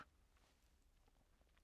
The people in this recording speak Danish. DR1